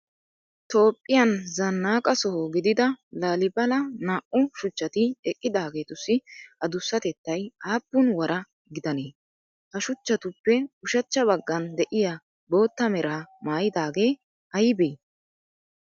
Toophphiyan zanaqa soho gidida laalibala naa"u shuchchati eqqidaggettussi adussatettay appun wara gidannee? Ha suchchatuppe ushshacha bagan de'iya bootta meraa maayidaagee aybee?